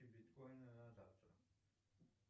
биткоины на завтра